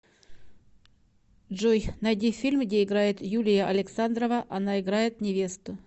джой найди фильм где играет юлия александрова она играет невесту